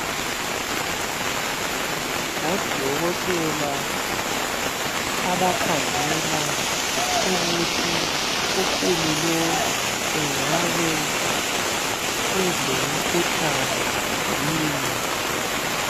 Ngodokotela abakhangela ukuthi ukhulu lowu engabe elemikhuhlane yini